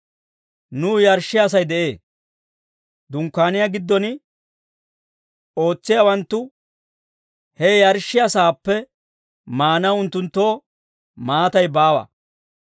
Nuw yarshshiyaasay de'ee; Dunkkaaniyaa giddon ootsiyaawanttu he yarshshiyaa saappe maanaw unttunttoo maatay baawa.